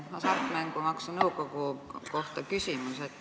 Selline küsimus Hasartmängumaksu Nõukogu kohta.